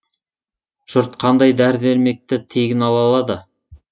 жұрт қандай дәрі дәрмекті тегін ала алады